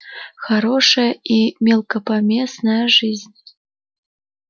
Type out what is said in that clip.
хороша и мелкопомествая жизнь